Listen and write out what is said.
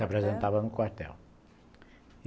Se apresentava no quartel.